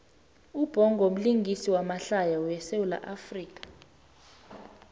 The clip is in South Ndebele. ubhongo mlingisi wamahlaya we sawula afrika